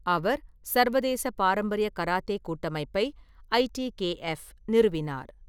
அவர் சர்வதேச பாரம்பரிய கராத்தே கூட்டமைப்பை (ஐடிகேஎஃப்) நிறுவினார்.